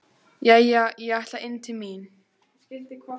Jæja, ég ætla inn til mín.